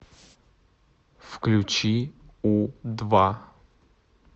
включи у два